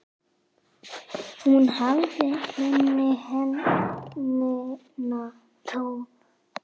Hún hafði hinn hreina tón.